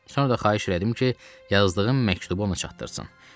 Sonra da xahiş elədim ki, yazdığım məktubu ona çatdırsın.